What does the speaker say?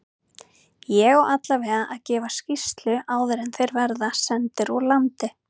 Ég á allavega að gefa skýrslu áður en þeir verða sendir úr landi.